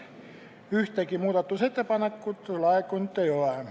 Ühtegi muudatusettepanekut laekunud ei ole.